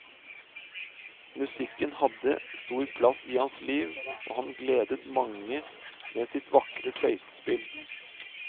Musikken hadde stor plass i hans liv, og han gledet mange med sitt vakre fløytespill.